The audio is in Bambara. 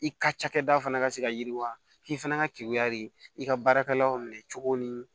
I ka cakɛda fana ka se ka yiriwa k'i fana ka kekuya de i ka baarakɛlaw minɛ cogo ni